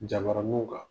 Jabaraninw kan